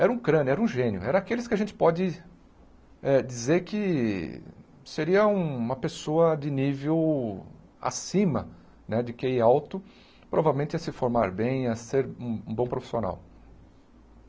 Era um crânio, era um gênio, era aqueles que a gente pode eh dizer que seria uma pessoa de nível acima, né de Quê í alto, provavelmente ia se formar bem, ia ser um bom profissional.